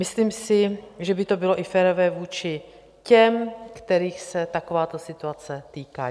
Myslím si, že by to bylo i férové vůči těm, kterých se takováto situace týká.